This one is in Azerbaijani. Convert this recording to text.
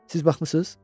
Siz baxmısınız?